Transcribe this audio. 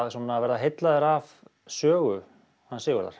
verða heillaður af sögu Sigurðar